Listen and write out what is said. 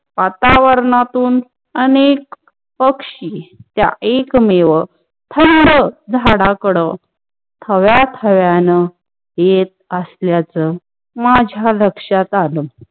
वातावरांतून अनेक पक्षीचा एकमेव थुंड झाडाकड थव्याथव्यान येत अस्ल्याच माझा लक्षात आल.